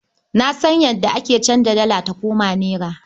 Na san yadda ake anza dala ta koma nera ba.